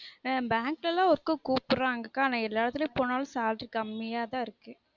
ஆஹ் bank எல்லான் ல work உ கூப்டுறாங்க அக்கா ஆனா எல்லா எடத்துல போனலும் salary கம்மியா தான் இருக்கு